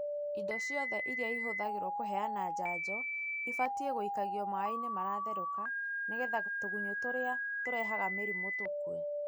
Indo ciothe iria ihũthagĩrwo kũheana njanjo ibatiĩ gũikagio maaĩ-inĩ maratherũka nĩgetha tũgunyũ tũrĩa turehaga mĩrimũ tũkue.